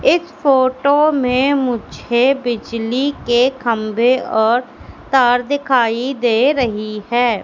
एक फोटो में मुझे बिजली के खंभे और तार दिखाई दे रही हैं।